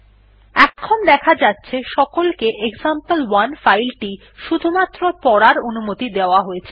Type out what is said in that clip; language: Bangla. এখন দেখা যাচ্ছে সকলকে এক্সাম্পল1 ফাইল টি শুধুমাত্র পড়ার অনুমতি দেওয়া হয়েছে